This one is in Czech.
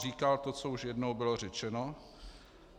Říkal to, co už jednou bylo řečeno.